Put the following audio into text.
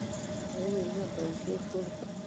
Ako kingem boisie kokeny.